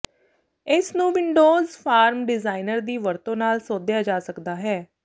ਇਸ ਨੂੰ Windows form designer ਦੀ ਵਰਤੋਂ ਨਾਲ ਸੋਧਿਆ ਜਾ ਸਕਦਾ ਹੈ